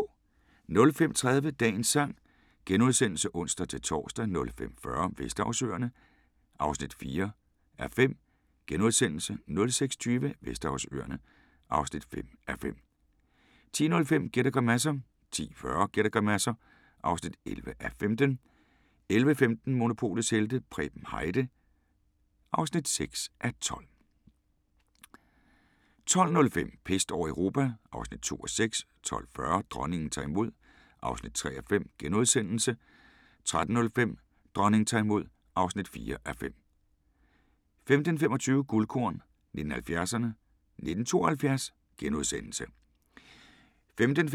05:30: Dagens sang *(ons-tor) 05:40: Vesterhavsøerne (4:5)* 06:20: Vesterhavsøerne (5:5) 10:05: Gæt og grimasser 10:40: Gæt og grimasser (11:15) 11:15: Monopolets helte - Preben Heide (6:12) 12:05: Pest over Europa (2:6) 12:40: Dronningen tager imod (3:5)* 13:05: Dronningen tager imod (4:5) 15:25: Guldkorn 1970'erne: 1972 *